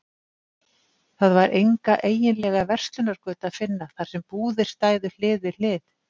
Það var enga eiginlega verslunargötu að finna, þar sem búðir stæðu hlið við hlið.